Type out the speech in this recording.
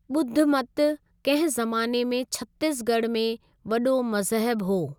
ॿुधमत कंहिं ज़माने में छत्तीस ॻढ़ में वॾो मज़हब हो।